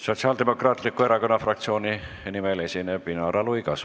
Sotsiaaldemokraatliku Erakonna fraktsiooni nimel esineb Inara Luigas.